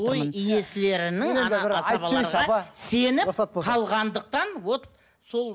той иесілерінің асабаларға сеніп қалғандықтан вот сол